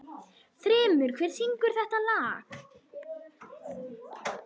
Þrymur, hver syngur þetta lag?